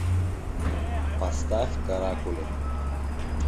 поставь каракули